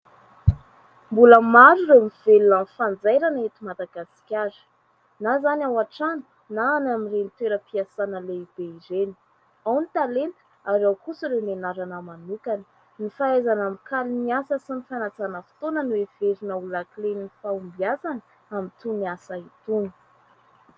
Mbola maro ireo mivelona amin'ny fanjairana eto Madagasikara, na izany ao an-trano na any amin'ireny toeram-piasana lehibe ireny. Ao ny talenta ary ao kosa ireo nianarana manokana. Ny fahaizana mikaly ny asa sy ny fanajana fotoana no heverina ho lakilen'ny fahombiazana amin' itony ny asa itony.